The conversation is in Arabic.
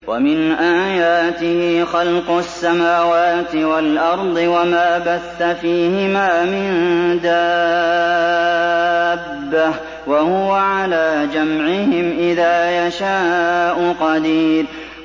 وَمِنْ آيَاتِهِ خَلْقُ السَّمَاوَاتِ وَالْأَرْضِ وَمَا بَثَّ فِيهِمَا مِن دَابَّةٍ ۚ وَهُوَ عَلَىٰ جَمْعِهِمْ إِذَا يَشَاءُ قَدِيرٌ